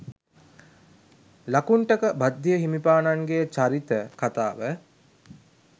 ලකුණ්ඨක භද්දිය හිමිපාණන්ගේ චරිත කතාව